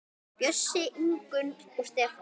Bjössi, Ingunn og Stefán.